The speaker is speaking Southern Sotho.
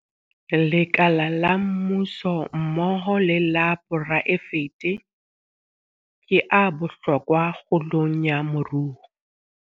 Lekala la mmuso mmoho le la poraefete ke a bohlokwa kgolong ya moruo.